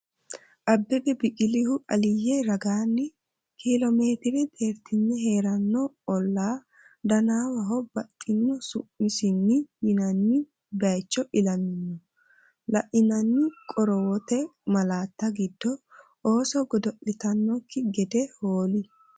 Abbebe Biqilihu Aliyye ragaanni kiilo meetire xeerti’re hee’ranno olla Dannawaho baxxino su’misinni yinanni bay icho ilamino, La’inanni qorowote malaatta giddo ooso godo’litannokki gede hool?